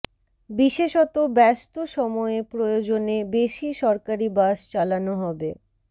বিশেষত ব্যস্ত সময়ে প্রয়োজনে বেশি সরকারি বাস চালানো হবে